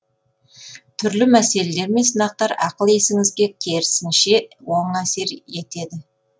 түрлі мәселелер мен сынақтар ақыл есіңізге керісінше оң әсер етеді